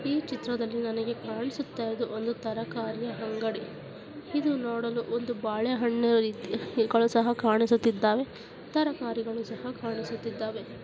ಈ ಚಿತ್ರದಲ್ಲಿ ನನಗೆ ಕಾಣಿಸುತ್ತಿರುವುದು ಒಂದು ತರಕಾರಿ ಅಂಗಡಿ ಇದು ನೋಡಲು ಒಂದು ಬಾಳೆಹಣ್ಣಿನ ರೀತಿ ಇಕಳು ಸಹ ಕಾಣಿಸುತ್ತಿದ್ದಾವೆ ತರಕಾರಿಗಳು ಸಹ ಕಾಣಿಸುತ್ತಿದ್ದಾವೆ.